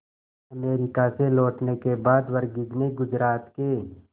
America से लौटने के बाद वर्गीज ने गुजरात के